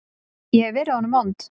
Ég hef verið honum vond.